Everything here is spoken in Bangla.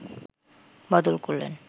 বদল করলেন